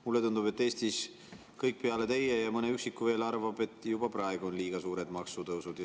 Mulle tundub, et Eestis kõik peale teie ja mõne üksiku veel arvavad, et juba praegu on liiga suured maksutõusud.